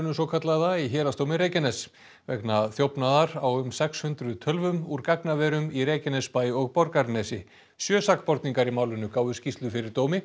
svokallaða í Héraðsdómi Reykjaness vegna þjófnaðar á um sex hundruð tölvum úr gagnaverum í Reykjanesbæ og Borgarnesi sjö sakborningar í málinu gáfu skýrslu fyrir dómi